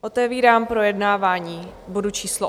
Otevírám projednávání bodu číslo